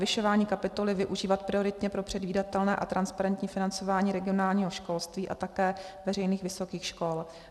Navyšování kapitoly využívat prioritně pro předvídatelné a transparentní financování regionálního školství a také veřejných vysokých škol.